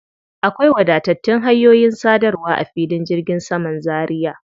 Akwai wadatattun hanyoyin sadarwa a filin jirgin saman Zaria.